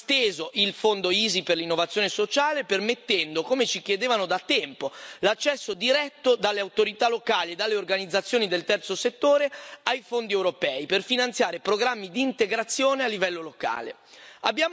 Abbiamo esteso il fondo EaSI per l'innovazione sociale, permettendo, come ci chiedevano da tempo, l'accesso diretto dalle autorità locali e dalle organizzazioni del terzo settore ai fondi europei, per finanziare programmi di integrazione a livello locale.